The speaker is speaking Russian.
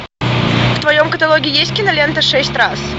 в твоем каталоге есть кинолента шесть раз